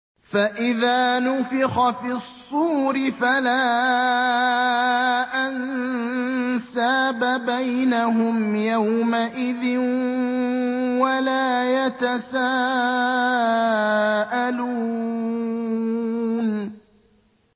فَإِذَا نُفِخَ فِي الصُّورِ فَلَا أَنسَابَ بَيْنَهُمْ يَوْمَئِذٍ وَلَا يَتَسَاءَلُونَ